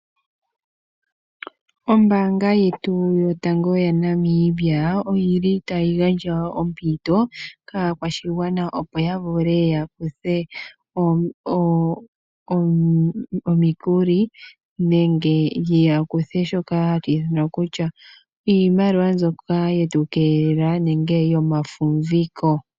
Ombaanga yetu yotango yaNamibia oyili tayi gandja wo ompito kaakwashigwana, opo ya vule ya kuthe omikuli nenge ya kuthe shoka hashi ithanwa kutya iimaliwa mbyoka yetu keelela nenge yomafumviko.